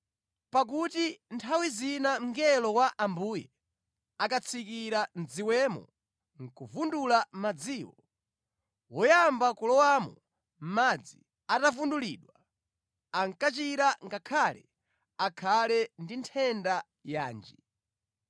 Pakuti nthawi zina mngelo wa Ambuye ankatsikira mʼdziwemo nʼkuvundula madziwo. Woyamba kulowamo madzi atavundulidwa, ankachira ngakhale akhale ndi nthenda yanji.